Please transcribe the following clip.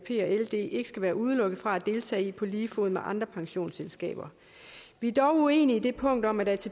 ld ikke skal være udelukket fra at deltage i på lige fod med andre pensionsselskaber vi er dog uenige i det punkt om at